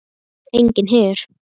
Enginn her.